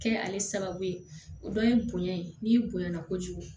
Kɛ ale sababu ye o dɔ ye bonɲɛ ye n'i bonya na kojugu